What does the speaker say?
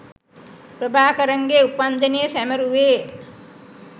ප්‍රභාකරන්ගේ උපන් දිනය සැමරුවේ.